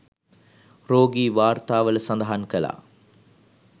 රෝගී වාර්තාවල සඳහන් කළා